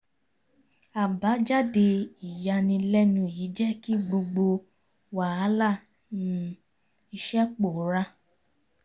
àbájáde ìyànilẹ́nu yìí jẹ́ kí gbogbo wàhálà um iṣẹ́ pòórá